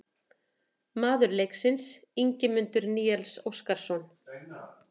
Maður leiksins: Ingimundur Níels Óskarsson